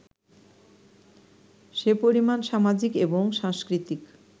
সে পরিমাণ সামাজিক এবং সাংস্কৃতিক